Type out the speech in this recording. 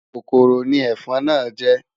Kòkòrò ni ẹ̀fọn náà jẹ́.